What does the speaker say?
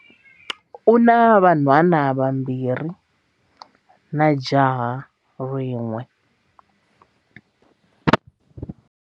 U na vanhwanyana vambirhi na jaha rin'we.